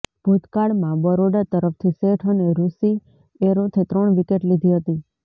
ભૂતકાળમાં બરોડા તરફથી શેઠ અને રૂષિ એરોથે ત્રણ વિકેટ લીધી હતી